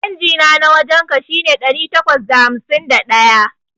Changina na wajan ka shine ɗari takwas da hamsin da ɗaya.